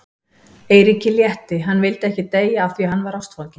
Eiríki létti, hann vildi ekki deyja af því að hann var ástfanginn.